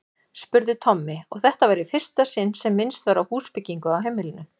spurði Tommi, og þetta var í fyrsta sinn sem minnst var á húsbyggingu á heimilinu.